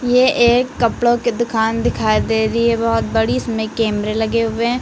ये एक कपड़ों के दुकान दिखाई दे रही है बहोत बड़ी इसमें कैमरे लगे हुए--